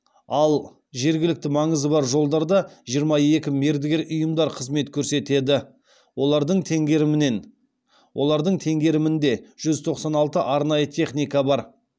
ал жергілікті маңызы бар жолдарда жиырма екі мердігер ұйымдар қызмет көрсетеді олардың теңгерімінен олардың теңгерімінде жүз тоқсан алты арнайы техника бар